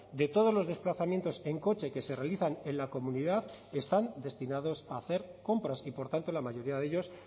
de todos los desplazamientos en coche que se realizan en la comunidad están destinados a hacer compras y por tanto la mayoría de ellos